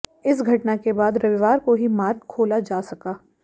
इस घटना के बाद रविवार को ही मार्ग खोला जा सका